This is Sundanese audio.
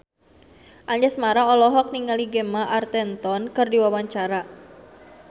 Anjasmara olohok ningali Gemma Arterton keur diwawancara